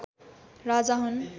राजा हुन्